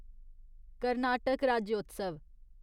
Karnataka Rajyotsav